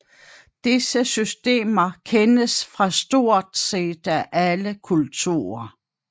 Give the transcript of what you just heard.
Disse systemer kendes fra stort set alle kulturer